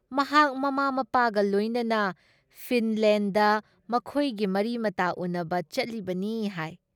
ꯃꯍꯥꯛ ꯃꯃꯥ ꯃꯄꯥꯒ ꯂꯣꯏꯅꯅ ꯐꯤꯟꯗꯂꯦꯟꯗ ꯃꯈꯣꯏꯒꯤ ꯃꯔꯤꯃꯇꯥ ꯎꯅꯕ ꯆꯠꯂꯤꯕꯅꯤ ꯍꯥꯏ ꯫